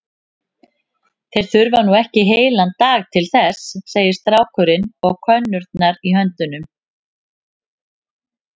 Þeir þurfa nú ekki heilan dag til þess, segir strákurinn og könnurnar í höndum